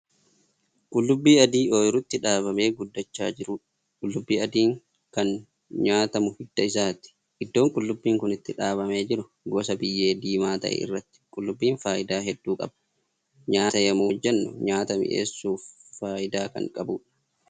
Qullubbii adii ooyruutti dhaabamee guddachaa jiruudha. qullubbii adiin Kan nyaatamu hidda isaati. iddoon qullubbiin Kun itti dhaabamee jiru gosa biyyee diimaa ta'e irratti. qullubbiin faayidaa hedduu qaba. nyaata yemmuu hojjannu nyaata mi'eessuuf faayidaa Kan qabuudha.